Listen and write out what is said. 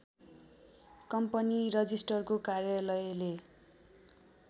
company रजिष्ट्रारको कार्यलयले